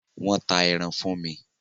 Wọ́n ta ẹran fún mi.